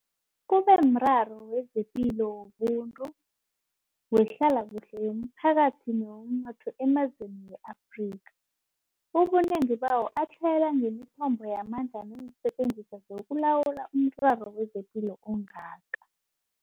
Kube mraro wezepilo, wobuntu, wehlalakuhle yomphakathi newomnotho emazweni we-Afrika, ubunengi bawo atlhayela ngemithombo yamandla neensetjenziswa zokulawula umraro wezepilo ongaka.